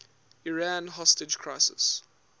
iran hostage crisis